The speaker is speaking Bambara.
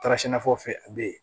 Taara sɛnɛfɛnw fɛ a be yen